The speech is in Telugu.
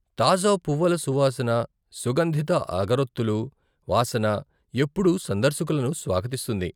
తాజా పువ్వుల సువాసన, సుగంధిత అగరొత్తులు వాసన ఎప్పుడూ సందర్శకులను స్వాగతిస్తుంది.